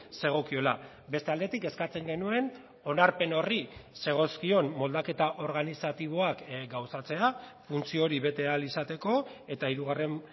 zegokiola beste aldetik eskatzen genuen onarpen horri zegozkion moldaketa organizatiboak gauzatzea funtzio hori bete ahal izateko eta hirugarren